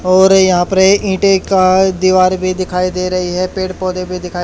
और यहां पर ईंटे का दीवार भी दिखाई दे रही है पेड़ पौधे भी दिखा--